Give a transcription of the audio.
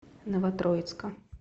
новотроицка